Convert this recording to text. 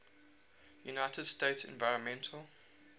united states environmental